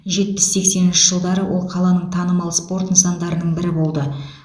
жетпіс сексенінші жылдары ол қаланың танымал спорт нысандарының бірі болды